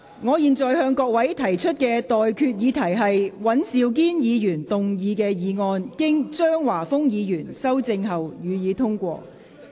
我現在向各位提出的待決議題是：尹兆堅議員動議的議案，經張華峰議員修正後，予以通過。